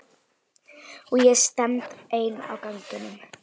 Og ég stend ein á ganginum.